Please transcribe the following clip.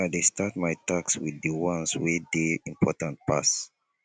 i dey start my tasks wit di ones wey dey important pass